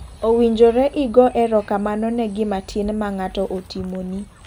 Owinjore igo ero kamano ne gima tin ma ng'ato otimoni.